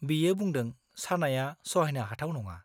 बियो बुंदों सानाया सहायनो हाथाव नङा।